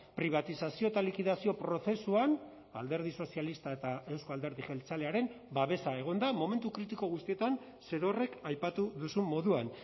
pribatizazio eta likidazio prozesuan alderdi sozialista eta euzko alderdi jeltzalearen babesa egon da momentu kritiko guztietan zerorrek aipatu duzun moduan